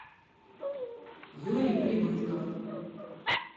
юрий прибытков